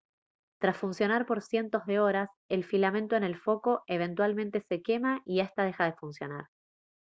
tras funcionar por cientos de horas el filamento en el foco eventualmente se quema y esta deja de funcionar